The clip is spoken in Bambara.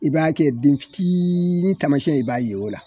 I b'a kɛ den fitiini taamasiyɛn ye i b'a ye o la.